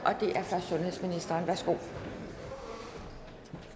og